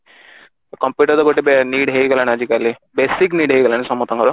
computer ତ ଗୋଟେ need ହେଇଗଲାଣି ଆଜିକାଲି basic need ହେଇଗଲାଣି ସମସ୍ତଙ୍କର